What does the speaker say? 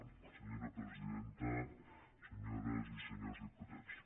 gràcies senyora presidenta senyores i senyors diputats